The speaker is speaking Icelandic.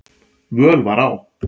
völ var á.